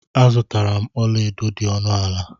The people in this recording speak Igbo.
Azutara m ọla edo dị ọnụ ala.